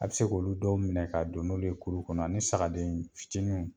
A bɛ se k'olu dɔw minɛ ka don n'olu ye kulu kɔnɔ ani sagadennin fitininw.